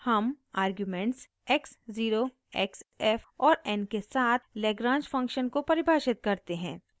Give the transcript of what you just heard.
हम arguments x 0 x f और n के साथ lagrange फंक्शन को परिभाषित करते हैं